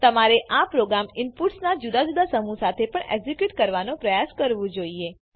તમારે આ પ્રોગ્રામ ઇનપુટ્સનાં જુદા જુદા સમૂહ સાથે પણ એક્ઝીક્યુટ કરવાનો પ્રયાસ કરવું જોઈએ